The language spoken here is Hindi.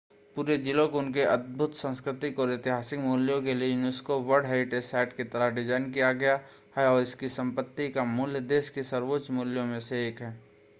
पूरे ज़िले को उनके अद्भुत सांस्कृतिक और ऐतिहासिक मूल्य के लिए यूनेस्को वर्ल्ड हेरिटेज़ साइट की तरह डिज़ाइन किया गया है और इसकी संपत्ति का मूल्य देश के सर्वोच्च मूल्यों में से एक है